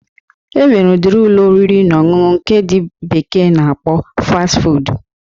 E nwere ụdiri Ụlọ oriri na ọṅụṅụ nke ndị bekee na-akpọ Fast Food.